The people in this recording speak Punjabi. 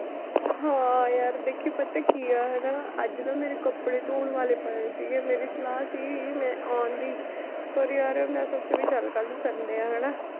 ਹਾਂ ਯਾਰ ਦੇਖੀ ਪਤਾ ਕੀ ਹੈ ਹਨਾ ਅੱਜ ਨਾ ਮੇਰੇ ਕੱਪੜੇ ਧੌਣ ਵਾਲੇ ਪਏ ਸੀਗੇ, ਮੇਰੀ ਸਲਾਹ ਸੀਗੀ ਮੈਂ ਆਉਣ ਦੀ ਪਰ ਯਾਰ ਮੈਂ ਸੋਚਿਆ ਵੀ ਚੱਲ ਕੱਲ੍ਹ ਨੂੰ Sunday ਆ ਹਨਾ